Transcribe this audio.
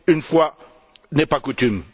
Une fois n'est pas coutume!